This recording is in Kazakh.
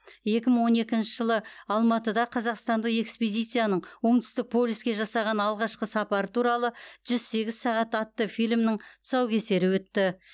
екі мың он екінші жылы алматыда қазақстандық экспедицияның оңтүстік полюске жасаған алғашқы сапары туралы жүз сегіз сағат атты фильмнің тұсаукесері өтті